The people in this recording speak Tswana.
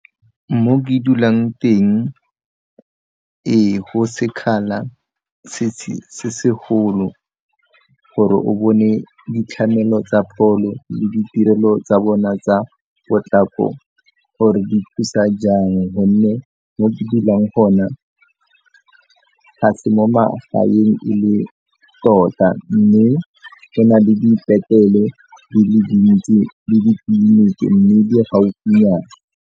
Mo ke dulang teng ee go sekgala se segolo gore o bone ditlamelo tsa pholo le ditirelo tsa bona tsa potlako gore di thusa jang gonne mo ke dulang gona ga se mo magaeng e le tota mme go na le dipetlele di le dintsi le mme di gaufi nyana.